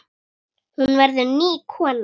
Hún verður ný kona.